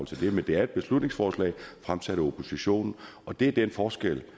til det men det er et beslutningsforslag fremsat af oppositionen og det er den forskel